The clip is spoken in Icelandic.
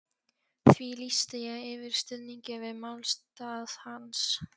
því lýsti ég yfir stuðningi við málstað hans.